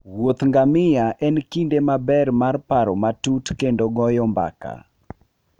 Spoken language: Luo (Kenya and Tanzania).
Wuoth ngamia en kinde maber mar paro matut kendo goyo mbaka.